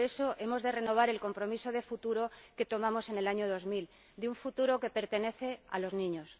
Por eso, hemos de renovar el compromiso de futuro que contrajimos en el año 2000, de un futuro que pertenece a los niños.